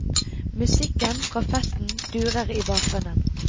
Musikken fra festen durer i bakgrunnen.